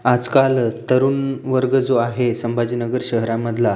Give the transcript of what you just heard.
आज काल तरुण वर्ग जो आहे सांभाजीनगर शहरा मधला--